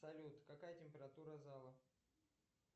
салют какая температура зала